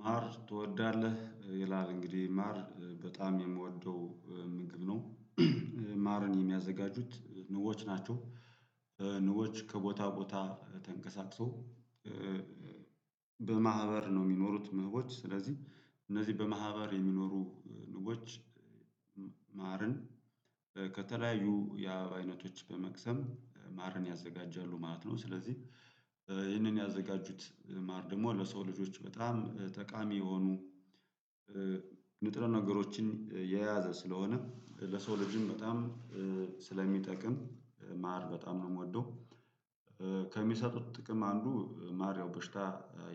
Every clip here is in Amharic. ማር ትወዳለህ ይላል? እንግዲህ ማር በጣም የምወደው ምግብ ነው ማረን የሚያዘጋጁት ንቦዎች ናቸው። ንቦዎች ከቦታ ቦታ ተንቀሳቅሶ በማህበር ነው የሚኖሩት ንቦች ስለዚህ እነዚህ በማህበር የሚኖሩ ንቦች። ማርን ከተለያዩ የአበባ አይነቶች በመቅሰም ማርን ያዘጋጃሉ ማለት ነው። ስለዚህ ይህንን ያዘጋጁት ማር ደግሞ ለሰው ልጆች በጣም ጠቃሚ የሆኑ ንጥረ ነገሮችን የያዘ ስለሆነ ለሰው ልጅም በጣም ስለሚጠቅም ማር በጣም ነው የምወደው። ከሚሰጡት ጥቅም አንዱ ማር ያው በሽታ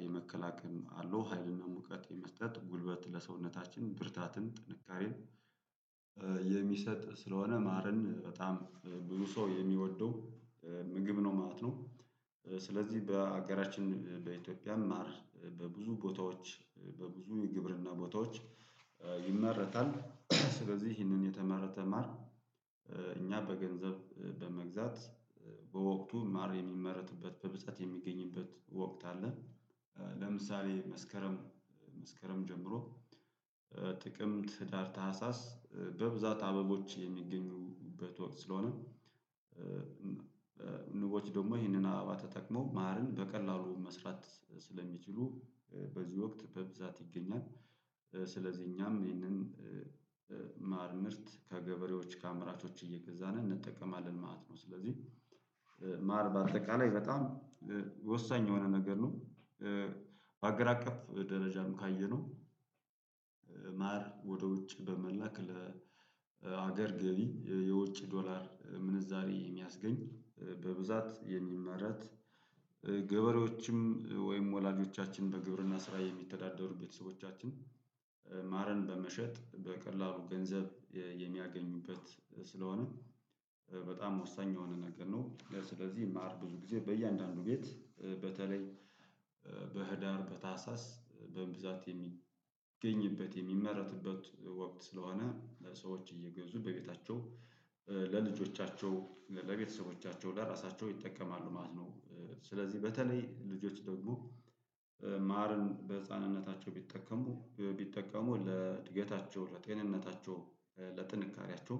የመከላከል አለው ሀይልን ሙቀት የመስጠት ጉልበት ለሰውነታችን ብርታትን ጥንካሬን የሚሰጥ ስለሆነ ማረን በጣም ብዙ ሰው የሚወደው ምግብ ነው ማለት ነው። ስለዚህ በሀገራችን በኢትዮጵያም ማር በብዙ ቦታዎች በብዙ የግብርና ቦታዎች ይመረታል። ስለዚህ ይህንን የተመረተ ማር እኛ በገንዘብ በመግዛት በወቅቱ ማር የሚመረትበት በብዛት የሚገኝበት ወቅት አለ። ለምሳሌ መስከረም መስከረም ጀምሮ ጥቅምት ህዳር ታህሳስ በብዛት አበቦች የሚገኙበት ወቅት ስለሆነ ንቦች ደግሞ ይህንን አበባ ተጠቅመው ማርን በቀላሉ መስራት ስለሚችሉ በዚህ ወቅት በብዛት ይገኛል። ስለዚህ እኛም ይህንን ማር ምርት ከገበሬዎች ከአመራቾች እየገዛን እንጠቀማለን ማለት ነው። ስለዚህ ማር በአጠቃላይ በጣም ወሳኝ የሆነ ነገር ነው። በሀገር አቀፍ ደረጃም ካየነው ማር ወደ ውጭ በመላክ ለሀገር ገቢ የውጭ ዶላር ምንዛሬ የሚያስገኝ በብዛት የሚመረት። ገበሬዎችም ወይም ወላጆቻችን በግብርና ስራ የሚተዳደሩ ቤተሰቦቻችን ማረን በመሸጥ በቀላሉ ገንዘብ የሚያገኙበት ስለሆነ በጣም ወሳኝ የሆነ ነገር ነው። ስለዚህ ማር ብዙ ጊዜ በእያንዳንዱ ቤት በተለይ በህዳር በታህሳስ በብዛት የሚገኝበት የሚመረትበት ወቅት ስለሆነ ለሰዎች እየገዙ በቤታቸው ለልጆቻቸው ለቤተሰቦቻቸው ለራሳቸው ይጠቀማሉ ማለት ነው። ስለዚህ በተለይ ልጆች ደግሞ ማርን በህፃንነታቸው ቢጠቀሙ ቢጠቀሙ ለእድገታቸው ለጤንነታቸው ለጥንካሬያቸው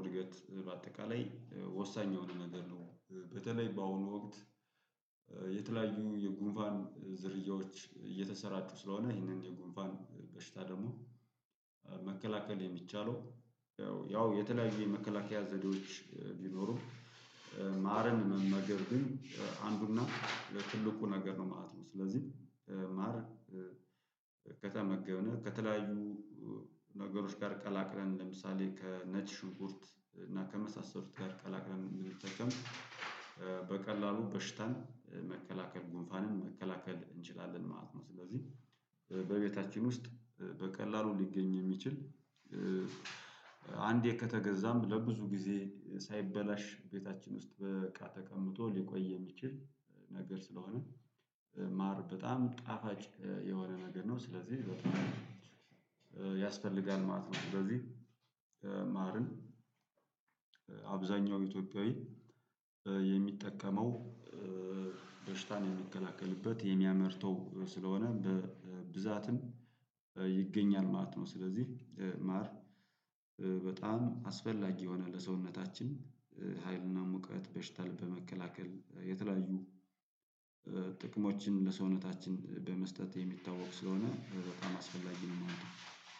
እድገት በአጠቃላይ ወሳኝ የሆነ ነገር ነው። በተለይ በአሁኑ ወቅት የተለያዩ የጉንፋን ዝርያዎች እየተሰራጩ ስለሆነ ይህንን የጉንፋን በሽታ ደግሞ መከላከል የሚቻለው ያው የተለያዩ የመከላከያ ዘዴዎች ቢኖሩ ማርን መመገብ ግን አንዱና ለትልቁ ነገር ነው ማለት ነው። ስለዚህ ማር ከተመገብነው ከተለያዩ ነገሮች ጋር ቀላቅለን ለምሳሌ ከነጭ ሽኩርት እና ከመሳሰሉት ጋር ቀላቅለም እንድንቀም በቀላሉ በሽታን መከላከል ጉንፋንን መከላከል እንችላለን ማለት ነው። ስለዚህ በቤታችን ውስጥ በቀላሉ ሊገኝ የሚችል አንዴ ከተገዛም ለብዙ ጊዜ ሳይበላሽ ቤታችን ውስጥ በቃ ተቀምጦ ሊቆይ የሚችል ነገር ስለሆነ ማር በጣም ጣፋጭ የሆነ ነገር ነው። ስለዚህ ያስፈልጋል ማለት ነው። በዚህ ማርን አብዛኛው ኢትዮጵያዊ የሚጠቀመው በሽታን የሚከላከልበት የሚያመርተው ስለሆነ በብዛትም ይገኛል ማለት ነው። ስለዚህ ማር በጣም አስፈላጊ የሆነ ለሰውነታችን ሀይልና ሙቀት በሽታል በመከላከል የተለያዩ ጥቅሞችን ለሰውነታችን በመስጠት የሚታወቅ ስለሆነ በጣም አስፈላጊ ነው የማለት ነው።